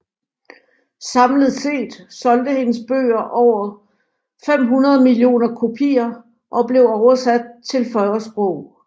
Samlet set solgte hendes bøger over 500 millioner kopier og blev oversat til 40 sprog